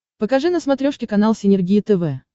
покажи на смотрешке канал синергия тв